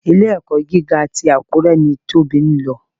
Ilé-ẹ̀kọ́ gíga ti Àkúré ni Tóbi lọ.